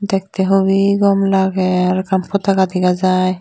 dektey hup gom lagey aro ekkan podoka dega jai.